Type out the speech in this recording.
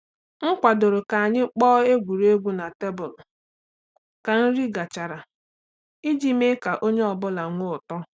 M kwadoro ka anyị kpọọ egwuregwu na tebụl ka nri gachara iji mee ka onye ọ bụla nwee ụtọ.